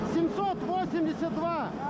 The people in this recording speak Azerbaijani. Yeddi yüz səksən iki!